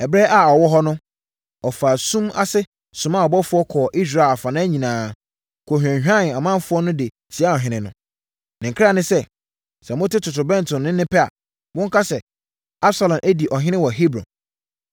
Ɛberɛ a ɔwɔ hɔ no, ɔfaa sum ase somaa abɔfoɔ kɔɔ Israel afanan nyinaa kɔhwanyanee ɔmanfoɔ de tiaa ɔhene no. Ne nkra ne sɛ, “Sɛ mote totorobɛnto nne pɛ a, monka sɛ, ‘Absalom adi ɔhene wɔ Hebron.’ ”